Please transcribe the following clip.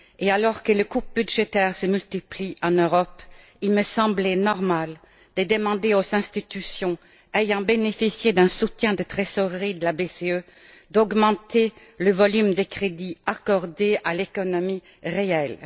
Alors que les coupes budgétaires se multiplient en Europe, il me semblait normal de demander aux institutions ayant bénéficié d'un soutien de trésorerie de la BCE d'augmenter le volume des crédits accordés à l'économie réelle.